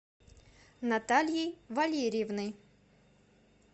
натальей валерьевной